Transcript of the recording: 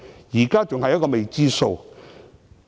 現時仍然是一個未知數。